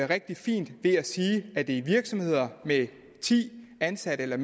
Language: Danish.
rigtig fint ved at sige at det er i virksomheder med ti ansatte eller